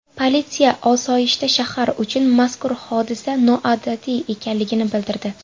Politsiya osoyishta shahar uchun mazkur hodisa noodatiy ekanligini bildirdi.